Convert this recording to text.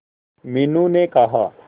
मीनू ने कहा